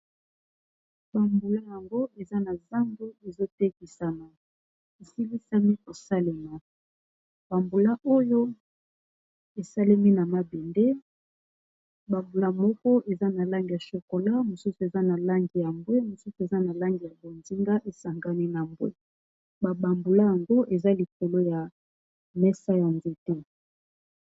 bambula yango eza na zando ezotekisana esilisami kosalema bambula oyo esalemi na mabende bambula moko eza na lange ya chocola mosusu eza na lange ya mbwe mosusu eza na langi ya bonzinga esangami na mbwe babambula yango eza likolo ya mesa ya nzete